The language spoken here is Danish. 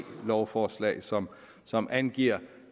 lovforslag som som angiver